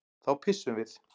Þá pissum við.